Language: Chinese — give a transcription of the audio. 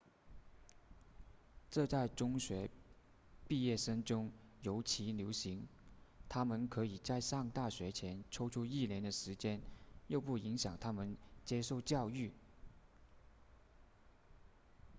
这在中学毕业生中尤其流行他们可以在上大学前抽出一年的时间又不影响他们接受教育